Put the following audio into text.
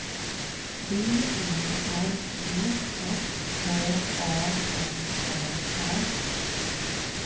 B E R G S H A M R A